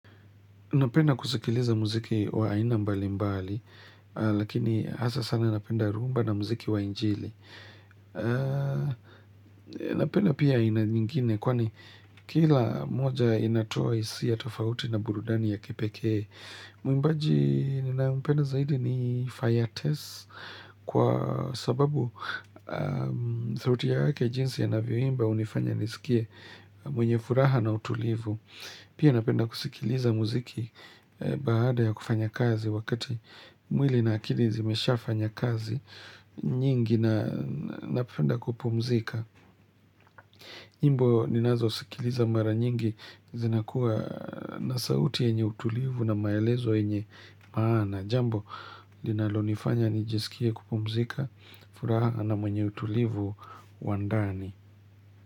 Napenda kusikiliza muziki wa aina mbali mbali, lakini hasa sana napenda rumba na muziki wa injili. Napenda pia aina nyingine, kwani kila moja inatoa hisia tofauti na burudani ya kipekee. Mwimbaji ninayompenda zaidi ni fire test, kwa sababu sauti yake jinsi anavyoimba unifanya nisikie mwenye furaha na utulivu. Pia napenda kusikiliza muziki baada ya kufanya kazi wakati mwili na akili zimeshafanya kazi nyingi na napenda kupumzika. Nyimbo ninazosikiliza mara nyingi zinakuwa na sauti enye utulivu na maelezo yenye maana. Jambo linalonifanya nijisikia kupumzika furaha na mwenye utulivu wa ndani.